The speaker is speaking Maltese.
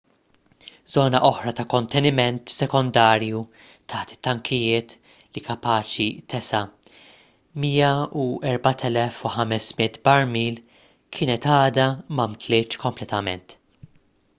żona oħra ta' konteniment sekondarju taħt it-tankijiet li kapaċi tesa' 104,500 barmil kienet għadha ma mtlietx kompletament